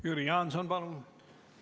Jüri Jaanson, palun!